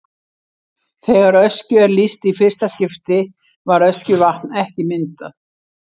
Þegar Öskju er lýst í fyrsta skipti var Öskjuvatn ekki myndað.